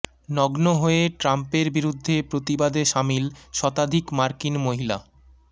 নগ্ন হয়ে ট্রাম্পের বিরুদ্ধে প্রতিবাদে সামিল শতাধিক মার্কিন মহিলা